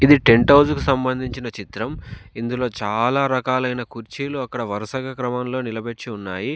ఇది tent house కి సంబంధించిన చిత్రం ఇందులో చాలా రకాలైన కుర్చీలు అక్కడ వరుసగా క్రమంలో నిలబెచ్చి ఉన్నాయి.